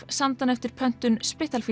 samdi hann eftir pöntun